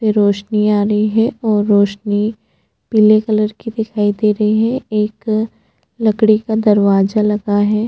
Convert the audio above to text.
रोशनी आ रही है और रोशनी पीले कलर की दिखाई दे रही है एक लकड़ी का दरवाजा लगा हैं।